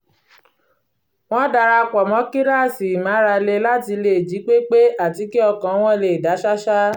wọ́n dara pọ̀ mọ́ kíláàsì ìmárale láti lè jí pé pé àti kí ọkàn wọn lè dá ṣáṣá